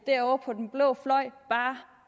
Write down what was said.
derovre på den blå fløj bare